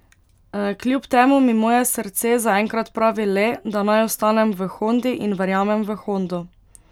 Kljub temu mi moje srce zaenkrat pravi le, da naj ostanem v Hondi in verjamem v Hondo.